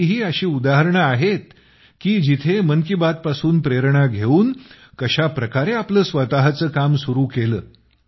आणखी ही अशी उदाहरणे आहेत की जेथे मन की बात पासून प्रेरणा घेऊन कशा प्रकारे आपलं स्वतःचं काम सुरू केलं